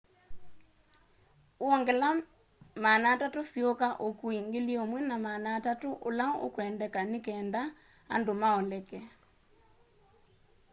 wongela 300 siuka ukui 1,300 ula ukwendeka nikenda andu maoleke